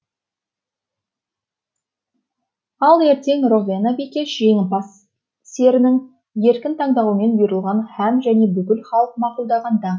ал ертең ровена бикеш жеңімпаз серінің еркін таңдауымен бұйрылған һәм және бүкіл халық мақұлдаған даңқ